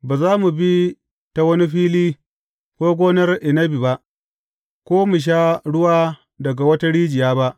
Ba za mu bi ta wani fili, ko gonar inabi ba, ko mu sha ruwa daga wata rijiya ba.